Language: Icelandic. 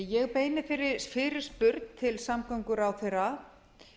ég beini þeirri fyrirspurn til samgönguráðherra